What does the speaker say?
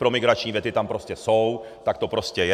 Promigrační věty tam prostě jsou, tak to prostě je.